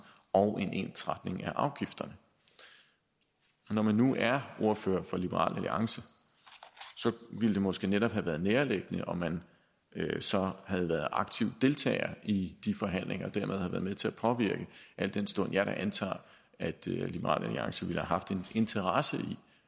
og en ensretning af afgifterne når man nu er ordfører for liberal alliance ville det måske netop have været nærliggende om man så havde været aktiv deltager i de forhandlinger og dermed havde været med til at påvirke al den stund jeg da antager at liberal alliance ville have haft en interesse i